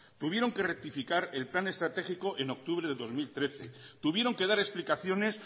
tuvieron que rectificar el plan estratégico en octubre del dos mil trece tuvieron que dar explicaciones